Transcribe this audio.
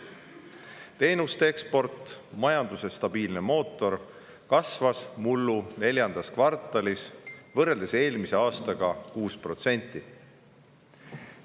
Teenuste eksport, majanduse stabiilne mootor, kasvas mullu neljandas kvartalis võrreldes eelmise aastaga 6%.